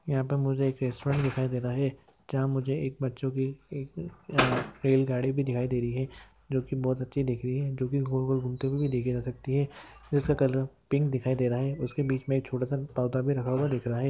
यहाँ पे मुझे एक रेस्टॉरंट दिखाई दे रहा है जहा मुझे एक बच्चों की एक अह बैलगाड़ी भी दिखाई दे रही है जो की बहुत अच्छी दिख रही है जो की गोल-गोल घूमते हुए देखे जा सकती है जैसा कलर पिंक दिखाई दे रहा है उसके बीच मे एक छोटासा पौधा भी रखा हुआ दिख रहा है।